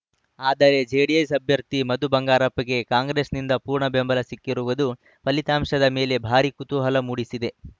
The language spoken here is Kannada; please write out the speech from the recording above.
ಆದರೆ ಜೆಡಿಎಸ್‌ ಅಭ್ಯರ್ಥಿ ಮಧು ಬಂಗಾರಪ್ಪಗೆ ಕಾಂಗ್ರೆಸ್‌ನಿಂದ ಪೂರ್ಣ ಬೆಂಬಲ ಸಿಕ್ಕಿರುವುದು ಫಲಿತಾಂಶದ ಮೇಲೆ ಭಾರೀ ಕುತೂಹಲ ಮೂಡಿಸಿದೆ